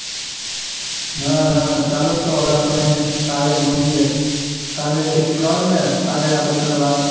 નાના ચાલો તો હવે આપણે કાલે મળીએ.